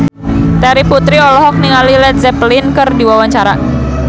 Terry Putri olohok ningali Led Zeppelin keur diwawancara